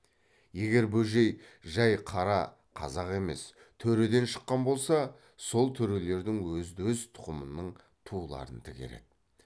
егер бөжей жай қара қазақ емес төреден шыққан болса сол төрелердің өзді өз тұқымының туларын тігер еді